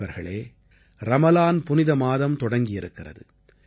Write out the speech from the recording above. நண்பர்களே ரமலான் புனித மாதம் தொடங்கியிருக்கிறது